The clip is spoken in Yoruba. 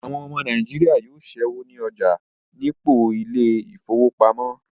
Àwọn ọmọ Nàìjíríà yóò ṣẹ́wó ní ọjà nípò ilé ìfowópamọ́